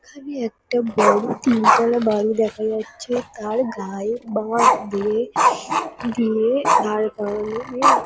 এখানে একটা বড়ো তিনতলা বাড়ি দেখা যাচ্ছে। তার গায়ে বাঁশ দিয়ে দিয়ে দাঁড় করানো মূল--